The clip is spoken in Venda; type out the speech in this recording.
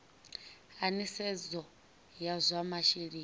a nisedzo ya zwa masheleni